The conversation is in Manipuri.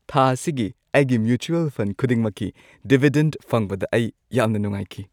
ꯊꯥ ꯑꯁꯤꯒꯤ ꯑꯩꯒꯤ ꯃ꯭ꯌꯨꯆꯨꯑꯜ ꯐꯟꯗ ꯈꯨꯗꯤꯡꯃꯛꯀꯤ ꯗꯤꯚꯤꯗꯦꯟꯗ ꯐꯪꯕꯗ ꯑꯩ ꯌꯥꯝꯅ ꯅꯨꯡꯉꯥꯏꯈꯤ꯫